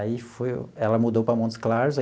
Aí foi, ela mudou para Montes Claros aí.